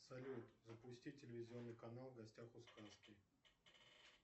салют запусти телевизионный канал в гостях у сказки